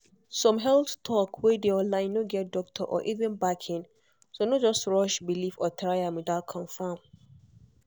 some health talk wey dey online no get doctor or evan backing so no just rush believe or try am without confirm.